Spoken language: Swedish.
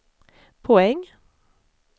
poäng